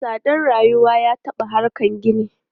Tsadar rayuwa ya taɓa harkan gini.